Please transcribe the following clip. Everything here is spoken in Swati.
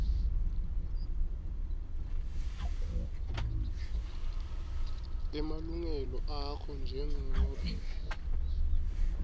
emalungelo akho njengobe